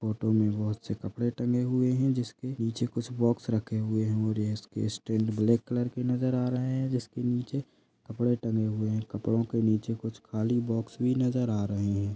Photo में बहुत से कपड़े टगे हुए है जिसके नीचे कुछ बॉक्स रखे हुए है और यह स्टैंड ब्लैक कलर के नज़र आ रहे है जिसके नीचे कपड़ा टगे हुए है कपड़ो के नीचे कुछ खाली बॉक्स भी नजर आ रही है।